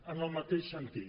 en el mateix sentit